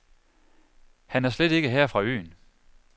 Han er slet ikke her fra øen.